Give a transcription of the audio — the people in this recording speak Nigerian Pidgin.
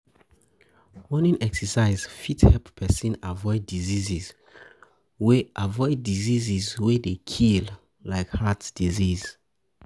morning exercise fit help person avoid disease wey dey kill like heart disease